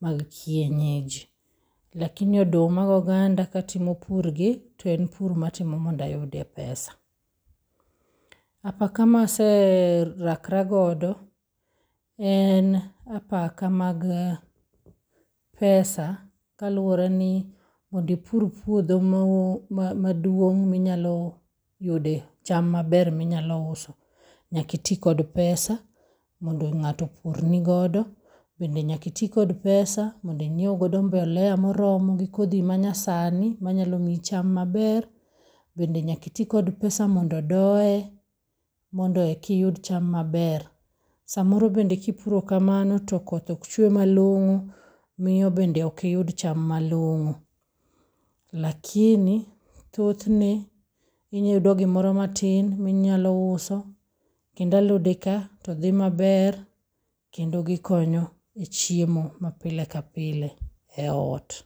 mag kienyeji. lakini oduma goganda katimo purgi, to en pur matimo mondo ayudie pesa. Apaka ma aserakra godo en apaka mag pesa kaluwore ni mondo ipur puodho maduong' minyalo yude cham maber minyalo uso, nyaka iti kod pesa mondo ng'ato opurni godo, bende nyaka iti kod pesa mondo inyiew godo mbolea moromo gi kodhi manyasani manyalo mi cham maber. Bende nyaka iti kod pesa mondo odoye mondo ekiyud cham maber. Samoro bende kipuro kamono to koth ok chwe malong'o, miyo bende ok iyud cham malong'o lakini thothne inyalo yudo gimoro matin minyalo uso kendo alode ka to dhi maber kendo gikonyo e chiemo mapile kapile e ot.